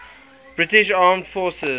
british armed forces